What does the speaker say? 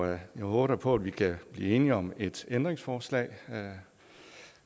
jeg håber da på at vi kan blive enige om et ændringsforslag